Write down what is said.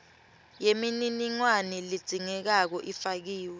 yemininingwane ledzingekako ifakiwe